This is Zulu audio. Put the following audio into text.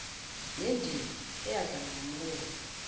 nendima eyadlalwa ngumholi